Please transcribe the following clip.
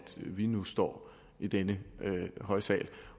vi nu står i denne høje sal